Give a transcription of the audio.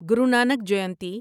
گرو Nanak جینتی